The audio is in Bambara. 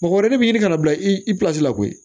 Mɔgɔ wɛrɛ de bi ɲini kana bila i la koyi